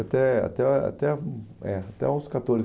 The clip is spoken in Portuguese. até até até hum, é, até aos catorze